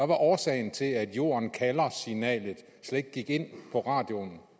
var årsagen til at jorden kalder signalet slet ikke gik ind på radioen